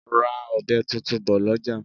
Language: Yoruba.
Ra ọbẹ tuntun bò lọjà!